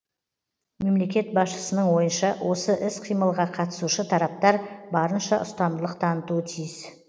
мемлекет басшысының ойынша осы іс қимылға қатысушы тараптар барынша ұстамдылық танытуы тиіс